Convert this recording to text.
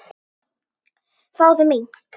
Fáðu mink.